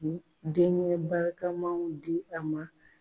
Denkɛ barikamaw di a ma.